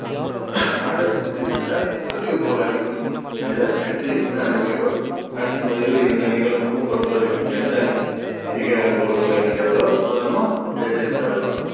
ஆட்டத்தின் முடிவில அதிக goal அடிக்கும் அணி தான் வெற்றி என அறிவிக்கப்படும் ஆட்டத்தின் முடிவில் இரண்டு அணிகளுக்கும் பொறுத்தவரைக்கும் எந்த அணி அதிக goal கள் அடிக்கிறதோ அது நம்ம வெற்றின்னு கருதுறோம்